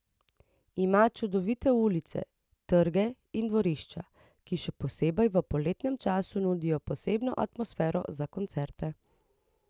Ima čudovite ulice, trge in dvorišča, ki še posebej v poletnem času nudijo posebno atmosfero za koncerte.